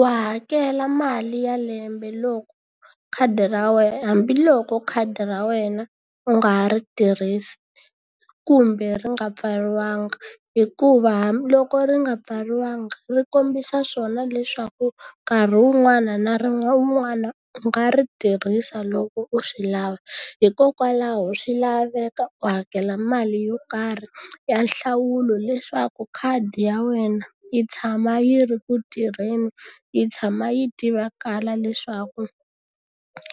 Wa hakela mali ya lembe loko khadi ra wena hambiloko khadi ra wena u nga ha ri tirhisi, kumbe ri nga pfariwanga. Hikuva hambiloko ri nga pfariwanga ri kombisa swona leswaku nkarhi wun'wana na wun'wana u nga ri tirhisa loko u swi lava. Hikokwalaho swi laveka u hakela mali yo karhi ya nhlawulo leswaku khadi ya wena yi tshama yi ri ku tirheni, yi tshama yi tivakala leswaku